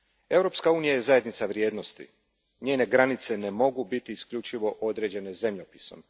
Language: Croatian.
Europska unija je zajednica vrijednosti, njene granice ne mogu biti isključivo određene zemljopisom.